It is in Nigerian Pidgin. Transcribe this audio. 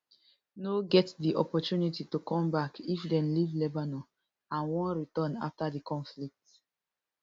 no get di opportunity to come back if dem leave lebanon and wan return afta di conflict